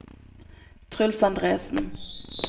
Truls Andresen